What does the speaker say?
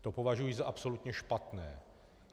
To považuji za absolutně špatné.